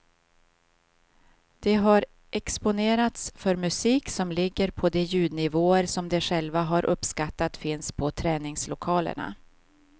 De har exponerats för musik som ligger på de ljudnivåer som de själva har uppskattat finns på träningslokalerna.